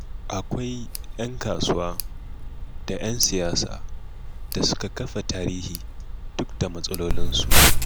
Akwai ‘yan kasuwa da ‘yan siyasa da suka kafa tarihi duk da matsalolinsu.